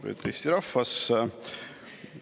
Lugupeetud Eesti rahvas!